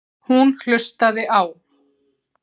Hún hlustaði á